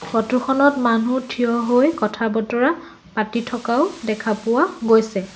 ফটোখনত মানুহ থিয় হৈ কথা বতৰা পাতি থকাও দেখা পোৱা গৈছে।